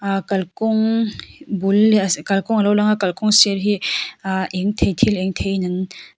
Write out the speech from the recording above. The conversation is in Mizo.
ahh kalkawng bul leh kalkawng a lo lang a kalkawng sir hi ahh eng thei thil eng thei in an--